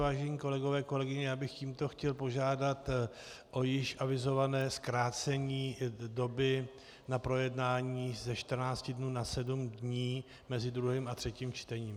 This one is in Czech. Vážení kolegové, kolegyně, já bych tímto chtěl požádat o již avizované zkrácení doby na projednání ze 14 dnů na 7 dní mezi druhým a třetím čtením.